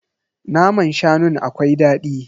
Naman shanun akwai dadi.